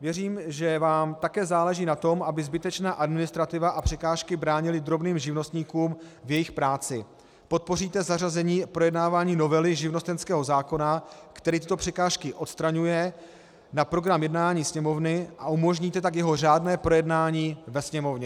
věřím, že vám také záleží na tom, aby zbytečná administrativa a překážky bránily drobným živnostníkům v jejich práci, podpoříte zařazení projednávání novely živnostenského zákona, který tyto překážky odstraňuje, na program jednání Sněmovny, a umožníte tak jeho řádné projednání ve Sněmovně.